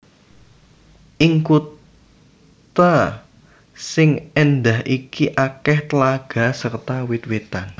Ing kutha sing éndah iki akèh tlaga serta wit witan